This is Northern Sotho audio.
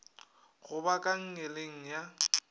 go ba ka nngeleng ya